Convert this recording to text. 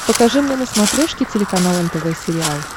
покажи мне на смотрешке телеканал нтв сериал